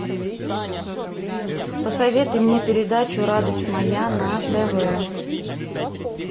посоветуй мне передачу радость моя на тв